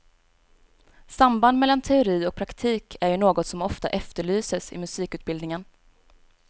Samband mellan teori och praktik är ju något som ofta efterlyses i musikutbildningen.